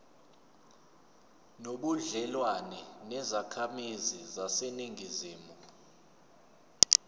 nobudlelwane nezakhamizi zaseningizimu